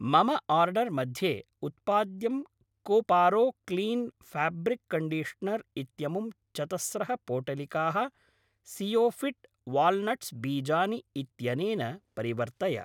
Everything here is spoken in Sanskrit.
मम आर्डर् मध्ये उत्पाद्यं कोपारो क्लीन् फाब्रिक् कण्डिश्नर् इत्यमुं चतस्रः पोटलिकाः सीयोफिट् वाल्नट्स् बीजानि इत्यनेन परिवर्तय।